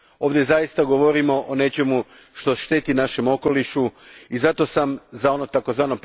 Ovdje zaista govorimo o nečemu što šteti našem okolišu i zato sam za ono tzv.